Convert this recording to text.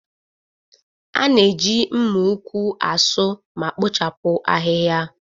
A na-eji mma ukwu asu ma kpochapụ ahịhịa.